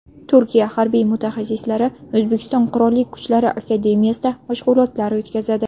Turkiya harbiy mutaxassislari O‘zbekiston Qurolli Kuchlari akademiyasida mashg‘ulotlar o‘tkazadi.